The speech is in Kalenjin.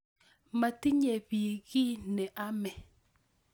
Matinye biik ki ne ame